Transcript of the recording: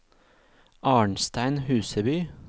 Arnstein Huseby